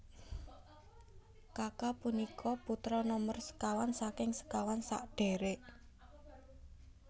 Kaka punika putra nomer sekawan saking sekawan sadherek